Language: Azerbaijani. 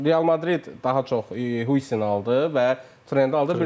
Real Madrid daha çox Hu Aldı və Trendi aldı.